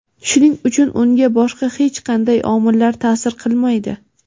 shuning uchun unga boshqa hech qanday omillar ta’sir qilmaydi.